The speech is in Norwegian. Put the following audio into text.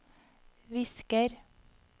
visker